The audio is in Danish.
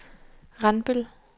Randbøl